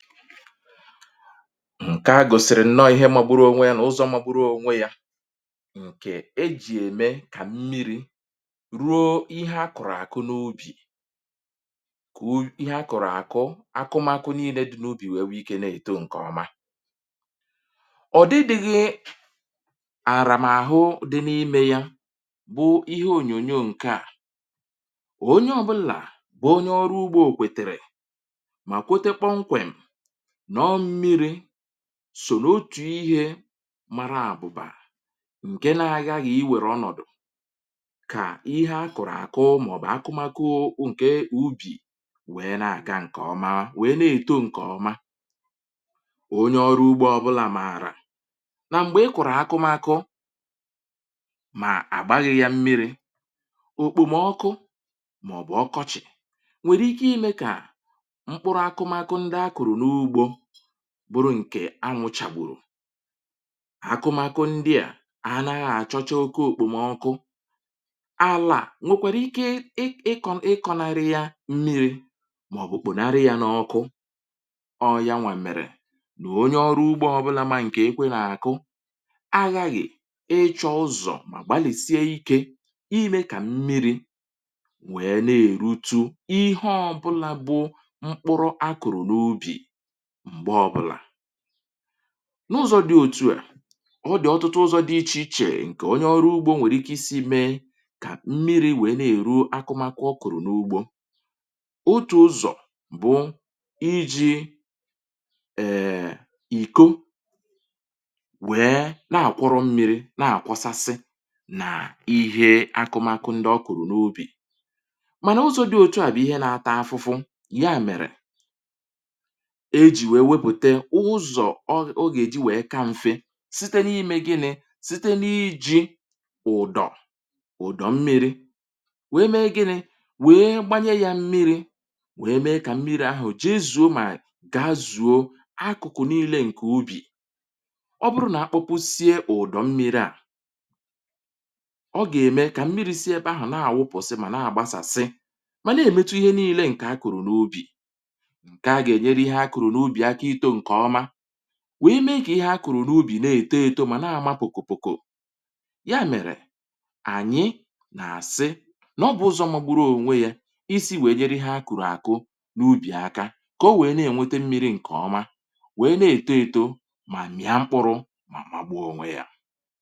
Nke a gòsìrì nọ ihe mgburu ònwe ya, nà ụzọ̇ mgburu ònwe yȧ ǹke ejì ème kà mmiri̇ ruo ihe a kụ̀rụ̀ àkụ n’ubì, kà ihe a kụ̀rụ̀ àkụ akụmakụ nille dị n’ubì nwèewe ikė nà-èto ǹkèọma. ọ̀dịdịghị àrà m̀ àhụ dị n’imė ya bụ ihe ònyònyo ǹke à. ònyė ọbụlà bụ̀ onye ọrụ ugbȯ kwètèrè, ma kwete kpọm kwem na ọ mmịrị sò n'otù ihe mara àbụbà ǹke na-aghȧ gà iwèrè ọnọ̀dụ̀ kà ihe a kụ̀rụ̀ àkụ, maọ̀bụ̀ akụmakụ ǹke ubì wèe na-àga ǹkè ọma, wèe na-èto ǹkè ọma. onye ọrụ ugbȯ ọbụlà mààrà nà m̀gbè ị kụ̀rụ̀ akụmakụ mà àgbaghị yȧ mmiri̇, òkpòmọkụ maọbụ ọkọchị nwere ịke ịme ka mpụrụ akụmakụ akụ n ụgbọ bụrụ ǹkè anwụ chàgbùrù, akụmakụ ndị à anaghị àchọcha oké òkpò m ọkụ. alà nwekwara ike ịkọ̇ n’iri ya mmi̇ri, màọ̀bụ̀ kpù n’iri ya n’ọkụ. ọ ya nwà mèrè nà onye ọrụ ugbȧ ọbụlà mȧnà ǹkè ekwe nà-àkụ aghȧghị̀ ịchọ ọzọ, mà gbàlìsie ikė imė kà mmiri wee na-è rutu ihe ọbụlà bụ mkpụrọ a kụ̀rụ̀ n’ubì mgbe ọbụla. n’ụzọ̇ dị òtu à ọ dị̀ ọtụtụ ụzọ̇ dị ichè ichè ǹkè onye ọrụ ugbȯ nwèrè ike isi mee kà mmiri̇ nwèe na-èru akụmakụ ọ kụ̀rụ̀ n’ugbȯ. otù ụzọ̀ bụ iji̇ [um]èèè iko wèe na-àkwọrọ mmiri̇ na-àkwọsasị nà ihe akụmakụ ndị ọ kụ̀rụ̀ n’ubì, mànà ụzọ̇ dị òtu à bụ̀ ihe nȧtȧ afụfụ, ihe à mèrè ọ gà-èji wèe ka mfe site n’ime gịnị̇ site n’iji ụ̀dọ̀ ụ̀dọ̀ mmi̇ri wee mee gịnị̇, wee gbanye ya mmi̇ri wee mee kà mmi̇ri ahụ̀ ji zùu mà ga-azùo akụ̀kụ̀ niilė ǹkè ubì. ọ bụrụ nà akpụpụ sie ụ̀dọ̀ mmi̇ri à ọ gà-ème kà mmi̇ri sie ebe ahụ̀ na-àwụpọ̀sị, mà na-àgbasàsị, mà na-èmetu ihe niilė ǹkè a kụ̀rụ̀ n’ubì, nke a ga eme ka ịhe akụrụ na ụbị aka ịtọ nke ọma, wee mee ka ihe akụrụ n’ubì na-eto eto ma na-amȧ pụ̀kụ̀ pụ̀kụ̀. ya mèrè ànyị nà àsị n’ọ bụ̀ ụzọ̇ mȧgbụrụ ònwe yȧ isi wèe nyere ihe akụrụ àkụ n’ubì aka ka, ọ wèe na-ènwete mmi̇ri ǹkè ọma wèe na-eto eto mà mịa mkpụrụ mà magbụ̇ ònwe yȧ.